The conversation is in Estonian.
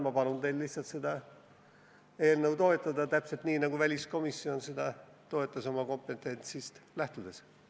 Ma palun teil lihtsalt seda eelnõu toetada, täpselt nii nagu väliskomisjon seda oma kompetentsist lähtudes toetas.